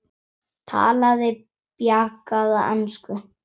Talaði bjagaða ensku: